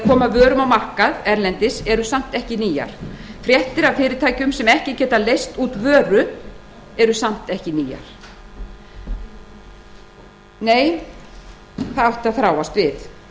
vörum á markað erlendis eru samt ekki nýjar fréttir af fyrirtækjum sem ekki geta leyst út vöru eru samt ekki nýjar nei það átti að þráast við